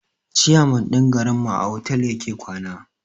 ciyaman din garin mu a otal yake kwana.